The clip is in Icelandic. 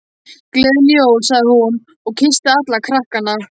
Gleðileg jól sagði hún og kyssti alla krakkana.